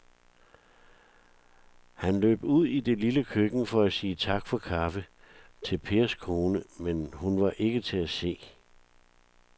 Han løb ud i det lille køkken for at sige tak for kaffe til Pers kone, men hun var ikke til at se.